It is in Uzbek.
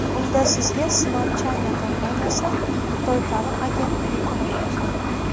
Unda sizga Smart China kompaniyasi Xitoy ta’lim agentligi ko‘maklashadi.